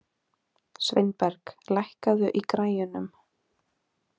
Sveinberg, lækkaðu í græjunum.